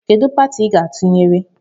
Kedụ pati I ga atụnyere?